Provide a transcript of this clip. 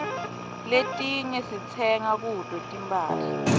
letinye sitsenga kuto tinphahla